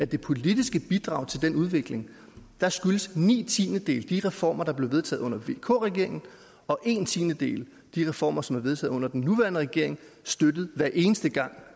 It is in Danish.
det politiske bidrag til den udvikling ni tiendedele skyldes de reformer der blev vedtaget under vk regeringen og en tiendedel de reformer som er vedtaget under den nuværende regering støttet hver eneste gang